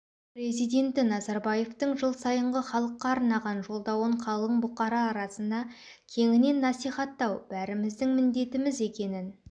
президенті назарбаевтың жыл сайынғы халыққа арнаған жолдауын қалың бұқара арасына кеңінен насихаттау бәріміздің міндетіміз екенін